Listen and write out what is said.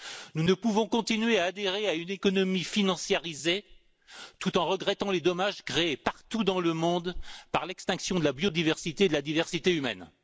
Nous ne pouvons continuer à adhérer à une économie financiarisée, tout en regrettant les dommages créés partout dans le monde par l'extinction de la biodiversité et de la diversité humaine.